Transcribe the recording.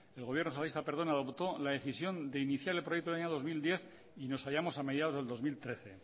adoptó la decisión de iniciar el proyecto en el año dos mil diez y nos hallamos a mediados del dos mil trece